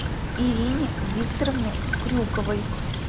ирине викторовне крюковой